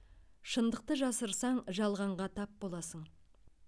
шындықты жасырсаң жалғанға тап боласың